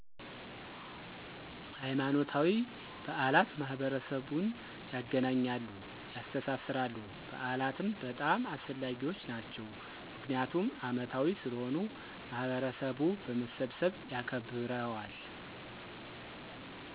ሀይማኖታዊ በዓላት ማህበረሰቡን ያገናኛሉ፣ ያስተሳስራሉ። በዓላትም በጣም አስፈላጊዎች ናቸው ምክንያቱም አመታዊ ስለሆኑ ማህበረሰቡ በመሰብሰብ ያከብረዋል።